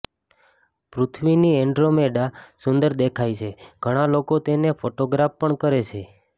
પૃથ્વીથી Andromeda સુંદર દેખાય છે ઘણા લોકો તેને ફોટોગ્રાફ પણ કરે છે